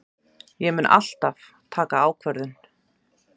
Ég mun alltaf taka ákvörðun.